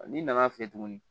N'i nana fɛ tuguni